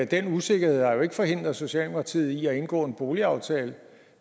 den usikkerhed har jo ikke forhindret socialdemokratiet i at indgå en boligaftale